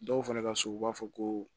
Dɔw fana ka so u b'a fɔ ko